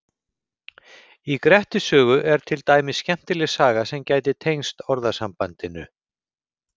Í Grettis sögu er til dæmis skemmtileg saga sem gæti tengst orðasambandinu.